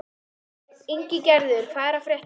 Ingigerður, hvað er að frétta?